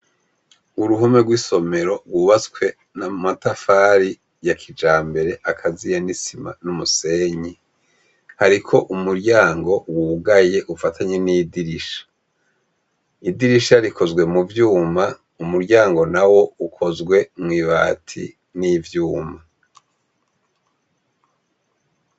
Uruhome rwisomero rwubatswe namatafari yakijambere nisima numusenyi hariko umuryango wugaye ufatanye nidirisha idirisha rikozwe muvyuma umuryango nawe ukozwe mwibati nivyuma